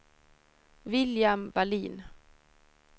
William Wallin